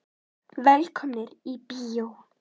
Velkomnir í bíó.